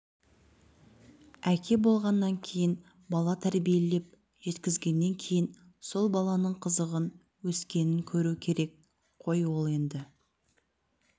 әке болғаннан кейін бала тәрбиелеп жеткізгеннен кейін сол баланың қызығын өскенін көру керек қой ол енді